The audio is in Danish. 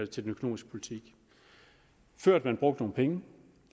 til den økonomiske politik førend man brugte nogle penge